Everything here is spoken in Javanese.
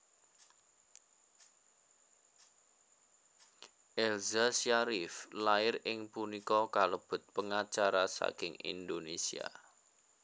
Elza Syarief lair ing punika kalebet pengacara saking Indonesia